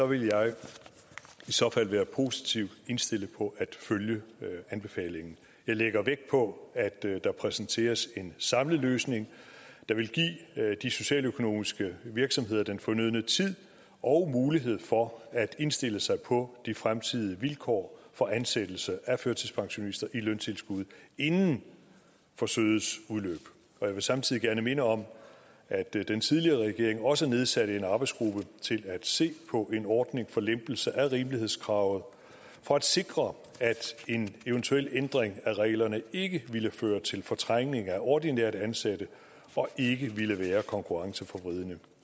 vil jeg i så fald være positivt indstillet på at følge anbefalingen jeg lægger vægt på at der præsenteres en samlet løsning der vil give de socialøkonomiske virksomheder den fornødne tid og mulighed for at indstille sig på de fremtidige vilkår for ansættelse af førtidspensionister i løntilskudsjob inden forsøgets udløb jeg vil samtidig gerne minde om at den tidligere regering også nedsatte en arbejdsgruppe til at se på en ordning for lempelse af rimelighedskravet for at sikre at en eventuel ændring af reglerne ikke ville føre til fortrængning af ordinært ansatte og ikke ville være konkurrenceforvridende